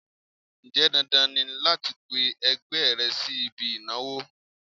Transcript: Ǹjẹ́ dandan ni láti pe ẹgbẹ́ rẹ sí ibi ìnáwó?